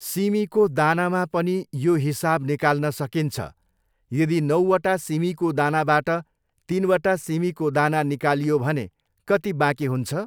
सिमीकाे दानामा पनि याे हिसाब निकाल्न सकिन्छ यदि नाैवटा सिमीकाे दानाबाट तिनवटा सिमीकाे दाना निकालियाे भने कति बाँकी हुन्छ?